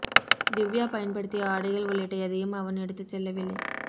திவ்யா பயன்படுத்திய ஆடைகள் உள்ளிட்ட எதையும் அவன் எடுத்துச் செல்லவில்லை